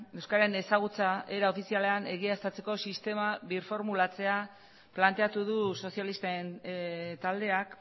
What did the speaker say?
euskararen ezagutza era ofizialean egiaztatzeko sistema birformulatzea planteatu du sozialisten taldeak